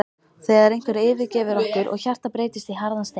þegar einhver yfirgefur okkur og hjartað breytist í harðan stein.